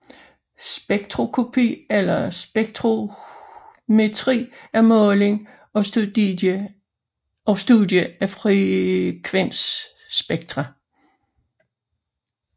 Spektroskopi eller spektrometri er måling og studie af frekvensspektra